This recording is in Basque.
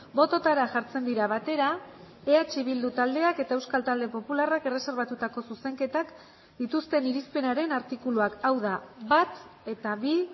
bototara jartzen dira batera eh bildu taldeak eta euskal talde popularrak erreserbatutako zuzenketak dituzten irizpenaren artikuluak hau da bat eta bi